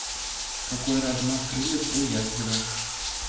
какой размах крыльев у ястреба